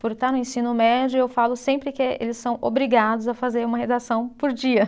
Por estar no ensino médio, eu falo sempre que eles são obrigados a fazer uma redação por dia.